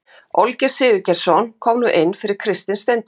Olgeir Sigurgeirsson kom nú inn fyrir Kristin Steindórssyni.